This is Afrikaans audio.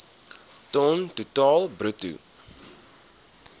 ton totaal bruto